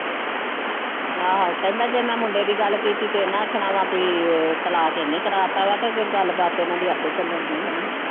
ਆਹੋ ਕਹਿੰਦਾ ਜੇ ਮੈਂ ਮੁੰਡੇ ਦੀ ਗੱਲ ਕੀਤੀ ਤੇ ਇਹਨਾਂ ਆਖਣਾ ਵਾਂ ਵੀ ਤਲਾਕ ਇਹਨੇ ਕਰਵਾ ਦਿੱਤਾ ਵਾ ਤੇ ਅੱਗੇ ਗੱਲਬਾਤ ਇਹਨਾਂ ਦੀ ਆਪੇ ਚੱਲਣ ਡੀ ਹਨਾ।